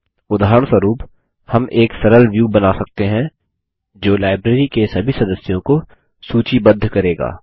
उदाहरणस्वरुप हम एक सरल व्यू बना सकते हैं जो लाइब्रेरी के सभी सदस्यों को सूचीबद्ध करेगा